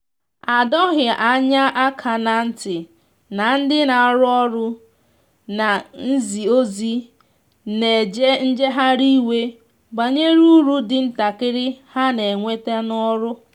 a dọghi anya aka na nti na ndi na arụ ọrụ na nzi ozi na eje njehari iwe banyere ụrụ ndi ntakiri ha n'enweta n'ọrụ.